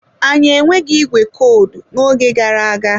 Anyị enweghị ìgwè kọdụ n'oge gara aga.